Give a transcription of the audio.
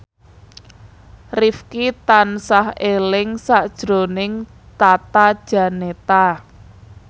Rifqi tansah eling sakjroning Tata Janeta